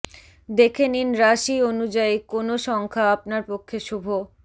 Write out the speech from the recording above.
দেখে নিন রাশি অনুযায়ী কোন সংখ্যা আপনার পক্ষে শুভ